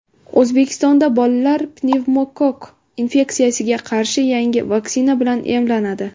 O‘zbekistonda bolalar pnevmokokk infeksiyasiga qarshi yangi vaksina bilan emlanadi.